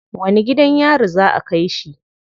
Wani gidan yari za a kai shi?